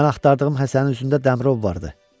Mən axtardığım Həsənin üzündə Dəmirov vardı.